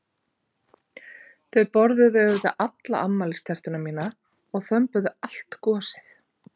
Þau borðuðu auðvitað alla afmælistertuna mína og þömbuðu allt gosið.